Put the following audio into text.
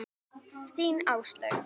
Þín, Áslaug.